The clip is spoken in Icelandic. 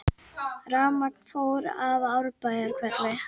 Rafmagn fór af Árbæjarhverfi